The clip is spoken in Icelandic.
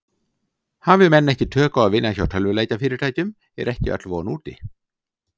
Hafi menn ekki tök á að vinna hjá tölvuleikjafyrirtækjum er ekki öll von úti.